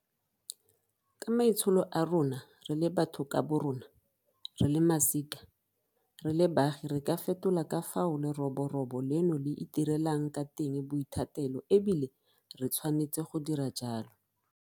Ka maitsholo a rona re le batho ka borona, re le masika, re le baagi re ka fetola ka fao leroborobo leno le itirelang ka teng boithatelo e bile re tshwanetse go dira jalo.